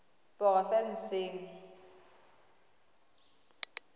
porofensing